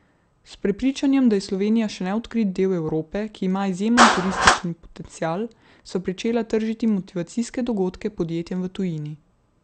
S prepričanjem, da je Slovenija še neodkrit del Evrope, ki ima izjemen turistični potencial, sva pričela tržiti motivacijske dogodke podjetjem v tujini.